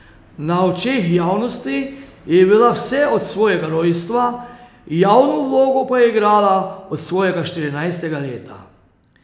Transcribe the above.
Na očeh javnosti je bila vse od svojega rojstva, javno vlogo pa je igrala od svojega štirinajstega leta.